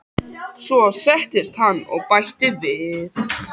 Svo settist hann og bætti við